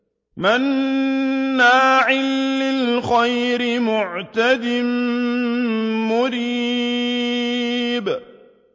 مَّنَّاعٍ لِّلْخَيْرِ مُعْتَدٍ مُّرِيبٍ